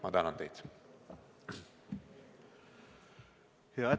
Ma tänan teid!